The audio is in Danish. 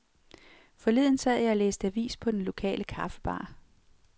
Forleden sad jeg og læste avis på den lokale kaffebar.